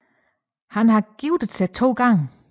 Han har giftet sig to gange